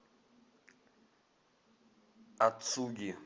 ацуги